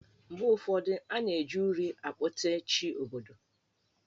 Mgbe ụfọdụ, a na-eji uri akpote Chi obodo.